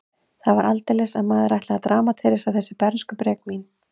Það var aldeilis að maðurinn ætlaði að dramatísera þessi bernskubrek mín.